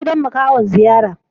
Kuje gidan makaho ziyara!